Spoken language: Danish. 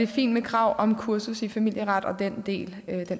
fint med krav om kursus i familieret og den del